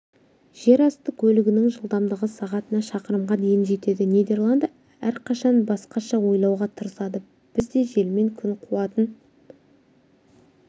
жерасты көлігінің жылдамдығы сағатына шақырымға дейін жетеді нидерланды әрқашан басқаша ойлауға тырысады бізде желмен күн қуатын